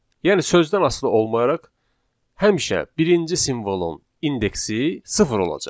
Yəni sözdən asılı olmayaraq, həmişə birinci simvolun indeksi sıfır olacaq.